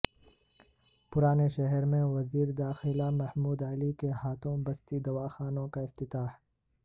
پرانے شہر میں وزیر داخلہ محمود علی کے ہاتھوں بستی دواخانوں کا افتتاح